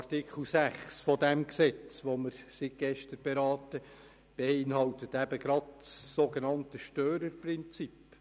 Artikel 6 dieses Gesetzes beinhaltet das Störerprinzip.